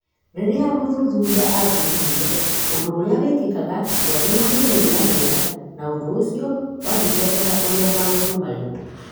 Rĩrĩa mũthuthuria athuthuririo, ũndũ ũrĩa wĩkĩkaga ndwarĩ na moimĩrĩra mega, na ũndũ ũcio wathingataga ũrĩa maũndũ marĩ.